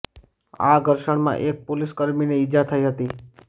આ ઘર્ષણમાં એક પોલીસ કર્મીને ઇજા થઇ હતી